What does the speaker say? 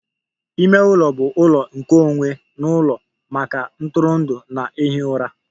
Ime ụlọ bụ ụlọ nkeonwe n'ụlọ maka ntụrụndụ na ihi ụra